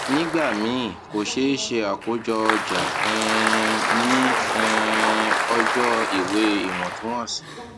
nígbà míì ko ṣee ṣe akojo oja um ni um ọjọ iwe iwọntunwọnsi